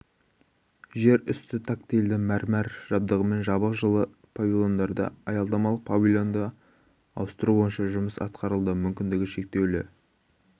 жер үсті тактильді мәрмәр жабдығымен жабық жылы павильондарда аялдамалық павильонды ауыстыру бойынша жұмыс атқарылды мүмкіндігі шектеулі